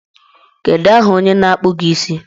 Kedu aha onye na-akpụ gị isi?